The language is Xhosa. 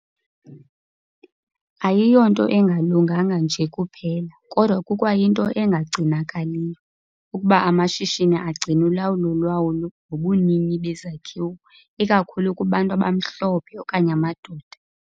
Ayiyonto engalunganga nje kuphela, kodwa kukwayinto engagcinakaliyo, ukuba amashishini agcine ulawulo lwawo nobunini bezakhiwo ikakhulu kubantu abamhlophe okanye amadoda.